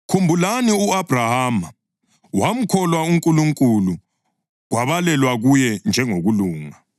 Khumbulani u-Abhrahama: “Wamkholwa uNkulunkulu, kwabalelwa kuye njengokulunga.” + 3.6 UGenesisi 15.6